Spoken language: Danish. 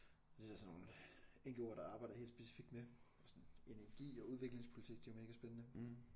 Det er der sådan nogle NGO'er der arbejder helt specifikt med sådan energi og udviklingspolitik det er jo mega spændende